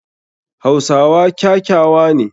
Hausawa kyakyawa ne.